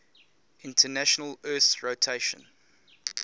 international earth rotation